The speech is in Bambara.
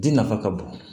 Ji nafa ka bon